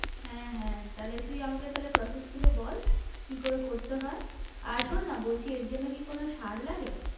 হ্যাঁ, হ্যাঁ তাহলে তুই আমাকে তাহলে process গুলো বল? কি করে করতে হয়? আর শোন না বলছি এর জন্যে কি কোনো সার লাগে?